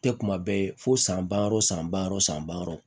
Tɛ kuma bɛɛ ye fo san ba yɔrɔ san ba yɔrɔ san ba wɔɔrɔ